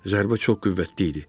Zərbə çox qüvvətli idi.